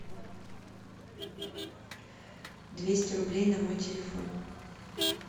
двести рублей на мой телефон